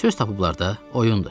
Söz tapıblar da, oyundur.